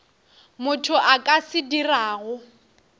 motho a ka se dirago